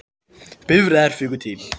Bifreiðar fuku til